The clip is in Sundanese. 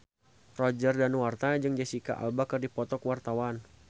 Roger Danuarta jeung Jesicca Alba keur dipoto ku wartawan